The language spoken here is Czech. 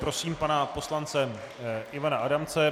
Prosím pana poslance Ivana Adamce.